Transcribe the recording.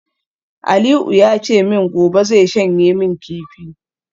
Aliu ya ce min gobe zai shanye min kifi